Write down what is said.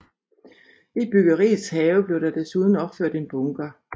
I byggeriets have blev der desuden opført en bunker